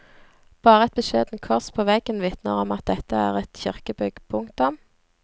Bare et beskjedent kors på veggen vitner om at dette er et kirkebygg. punktum